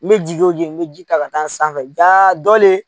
N bɛ ji o jigin n bɛ ji ta ka taa sanfɛ ja dɔ le ye